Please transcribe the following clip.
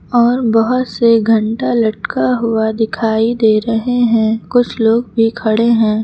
और बहुत से घंटा लटका हुआ दिखाई दे रहे हैं कुछ लोग भी खड़े हैं।